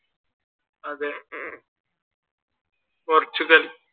അതെ പോർച്ചുഗൽ.